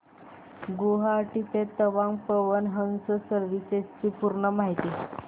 गुवाहाटी ते तवांग पवन हंस सर्विसेस ची पूर्ण माहिती